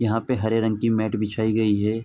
यहां पे हरे रंग की मैट बिछाई गई है।